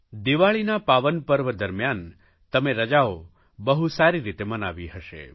દિવાળીના પાવન પર્વ દરમ્યાન તમે રજાઓ બહુ સારી રીતે મનાવી હશે